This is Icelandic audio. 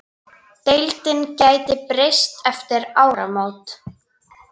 Deildin gæti breyst eftir áramót.